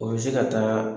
O bɛ se ka taa